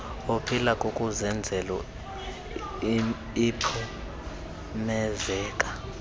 oluphila kukuzenzela iphumezeka